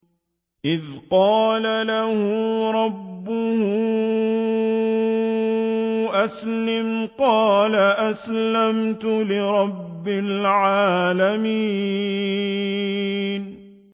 إِذْ قَالَ لَهُ رَبُّهُ أَسْلِمْ ۖ قَالَ أَسْلَمْتُ لِرَبِّ الْعَالَمِينَ